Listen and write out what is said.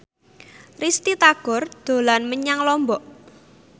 Risty Tagor dolan menyang Lombok